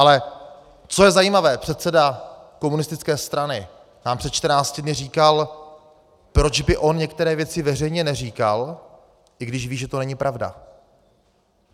Ale co je zajímavé, předseda komunistické strany nám před 14 dny říkal, proč by on některé věci veřejně neříkal, i když ví, že to není pravda.